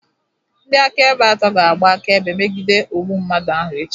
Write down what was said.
Ndị akaebe atọ ga-agba akaebe megide ogbu mmadụ ahụ echi